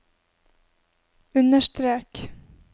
understrek